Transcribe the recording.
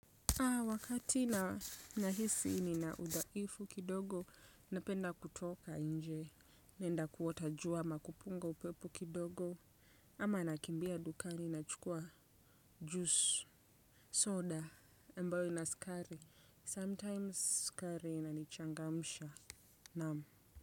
Wakati na nahisi ninaudhaifu kidogo napenda kutoka nje nenda kuota jua na kupunga upepo kidogo ama nakimbia dukani nachukua juice soda ambyo ina sukari sometimes sukari inanichangamsha naam.